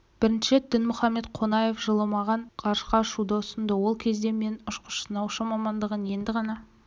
бірінші рет дінмұхамед қонаев жылы маған ғарышқа ұшуды ұсынды ол кезде мен ұшқыш-сынаушы мамандығын енді ғана